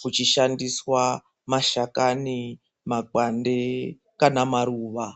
kuchishandiswa mashakani makwande kana maruwa.